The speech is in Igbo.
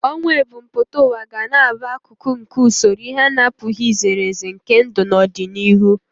Ọnwụ ebumpụta ụwa ga na-abụ akụkụ nke usoro ihe a na-apụghị izere ezere nke ndụ n'ọdịnihu.